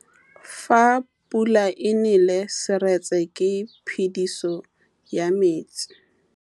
Fa pula e nelê serêtsê ke phêdisô ya metsi.